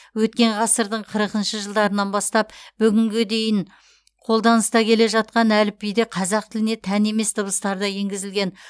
өткен ғасырдың қырықыншы жылдарынан бастап бүгінгі күнге дейін қолданыста келе жатқан әліпбиде қазақ тіліне тән емес дыбыстар да енгізілген